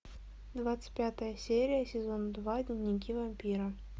двадцать пятая серия сезон два дневники вампира